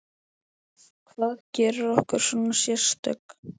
Hvað gerir okkur svona sérstök?